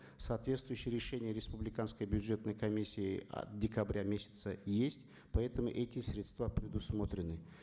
соответствующее решения республиканской бюджетной комиссии от декабря месяца есть поэтому эти средства предусмотрены